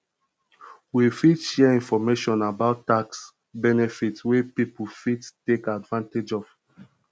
we fit share information about tax benefits wey people fit take advantage of